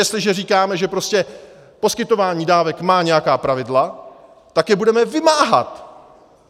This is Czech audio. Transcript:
Jestliže říkáme, že prostě poskytování dávek má nějaká pravidla, tak je budeme vymáhat!